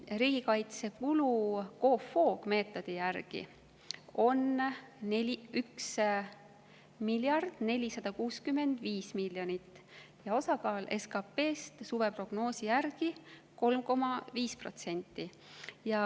Riigikaitsekulu COFOG‑meetodi järgi on 1 miljard 465 miljonit ja osakaal SKP‑s suveprognoosi järgi on 3,5%.